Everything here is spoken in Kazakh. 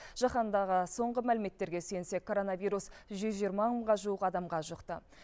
жаһандағы соңғы мәліметтерге сүйенсек коронавирус жүз жиырма мыңға жуық адамға жұқты